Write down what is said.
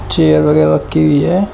Chair वगैरा रखी हुई है।